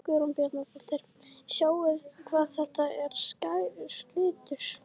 Guðrún Bjarnadóttir: Sjáið hvað þetta er skær litur?